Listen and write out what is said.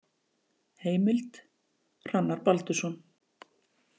Heimild: Hrannar Baldursson.